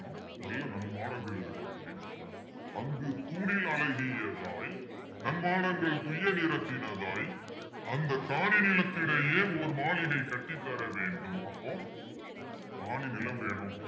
நல்ல நன்மாடங்கள் இருக்கணும் அப்பிடின்னு சொல்றாரு அங்கு தூணில் அழகியதாய் நன்மாடங்கள் துய்ய நிறத்தினதாய் அந்த காணி நிலத்தினிடையே ஓர் மாளிகை கட்டித்தர வேண்டும் அப்போ காணி நிலம் வேணும்